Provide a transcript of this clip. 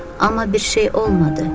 Amma bir şey olmadı.